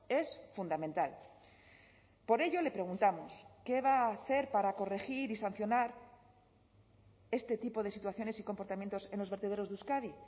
es fundamental por ello le preguntamos qué va a hacer para corregir y sancionar este tipo de situaciones y comportamientos en los vertederos de euskadi